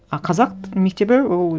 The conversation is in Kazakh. а қазақ мектебі ол